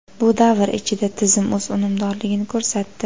Bu davr ichida tizim o‘z unumdorligini ko‘rsatdi.